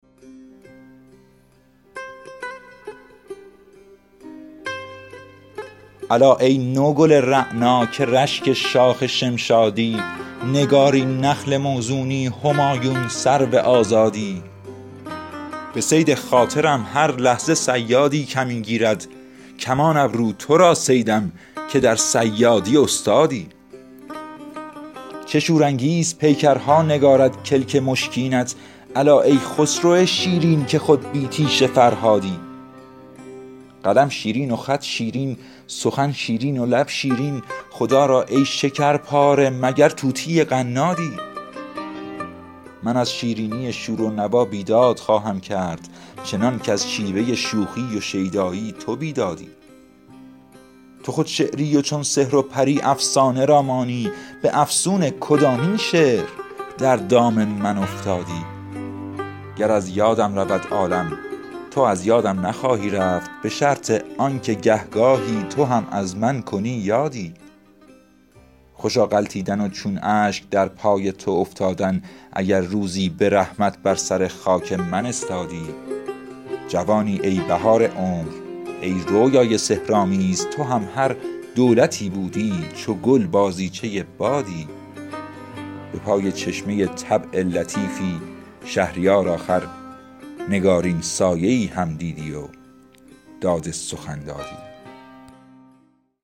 الا ای نوگل رعنا که رشک شاخ شمشادی نگارین نخل موزونی همایون سرو آزادی عروس بخت ما را ماه در آیینه می رقصد که شمع حجله می خندد به روی چون تو دامادی من این پیرانه سر تاجی که دارم با تو خواهم داد که از بخت جوان با دولت طبع خدادادی به صید خاطرم هر لحظه صیادی کمین گیرد کمان ابرو تو را صیدم که در صیادی استادی چه شورانگیز پیکرها نگارد کلک مشکینت الا ای خسرو شیرین که خود بی تیشه فرهادی قلم شیرین و خط شیرین سخن شیرین و لب شیرین خدا را ای شکر پاره مگر طوطی قنادی عروس ماه شاید چون تویی شیرین پسر زاید مگر پرورده دامان حوری یا پریزادی من از شیرینی شور و نوا بیداد خواهم کرد چنان کز شیوه شوخی و شیدایی تو بیدادی تو خود شعری و چون سحر و پری افسانه را مانی به افسون کدامین شعر در دام من افتادی گر از یادم رود عالم تو از یادم نخواهی رفت به شرط آن که گه گاهی تو هم از من کنی یادی خوشا غلطیدن و چون اشک در پای تو افتادن اگر روزی به رحمت بر سر خاک من استادی جوانی ای بهار عمر ای رویای سحرآمیز تو هم هر دولتی بودی چو گل بازیچه بادی به پای چشمه طبع لطیفی شهریار آخر نگارین سایه ای هم دیدی و داد سخن دادی